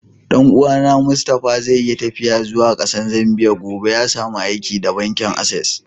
Dan uwa na Mustapha zai yi taffiya zuwa Kasan Zambia gobe. Ya samu aiki da bankin access.